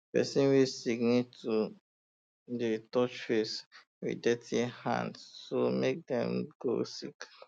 persin wey sick um need stop to dey touch face um with dirty hand so dem no go sick